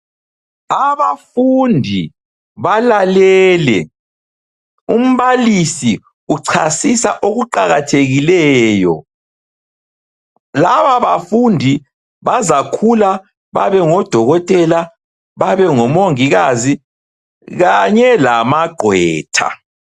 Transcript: Abafundi balalele umbalisi uchasisa okuqakathekileyo. Lababafundi bazakhula babe ngodokotela, babe ngomongikazi, kanye lamagqwetha.